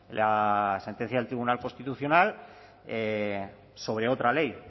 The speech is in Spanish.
la sentencia del tribunal constitucional sobre otra ley